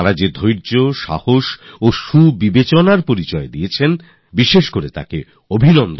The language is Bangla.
তারা যেরকমের ধৈর্য সংযম আর প্রজ্ঞার পরিচয় দিয়েছেন আমি তার জন্য বিশেষ ভাবে কৃতজ্ঞতা জানাতে চাই